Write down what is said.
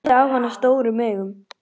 Horfði á hana stórum augum.